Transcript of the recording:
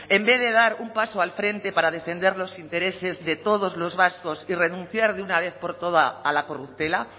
en vez de dar un paso al frente para defender los intereses de todos los vascos y renunciar de una vez por todas a la corruptela